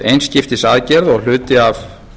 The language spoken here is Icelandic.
einskiptisaðgerð og hluti af